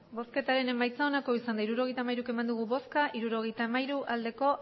emandako botoak hirurogeita hamairu bai hirurogeita hamairu